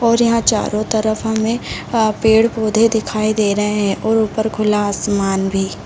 और यहाँ चारो तरफ हमें अ पेड़-पौधे दिखाई दे रहें हैं और ऊपर खुला आसमान भी।